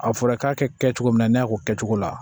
A fɔra k'a kɛ cogo min na ne y'a k'o kɛ cogo la